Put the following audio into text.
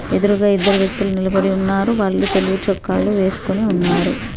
ఎదురుగా ఇద్దరు వ్యక్తులు నిలబడి ఉన్నారు వాళ్ళు తెలుగు చొక్కాలని వేసుకొని ఉన్నారు